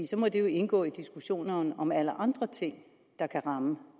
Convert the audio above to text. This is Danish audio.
så må det jo indgå i diskussionerne om alle andre ting der kan ramme